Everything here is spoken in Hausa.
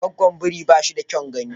Gwggon biri ba shi da kyaun gani.